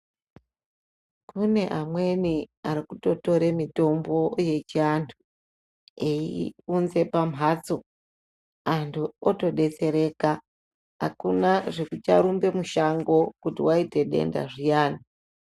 Kune amweni arikutotore mitombo yechindau kuyi unze pambatso antu atodetsereka hakuna zvekucharumbe misango kuti waita denda zviyani.